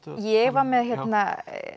ég var með hérna